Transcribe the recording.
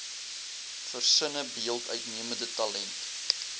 versinnebeeld uitnemende talent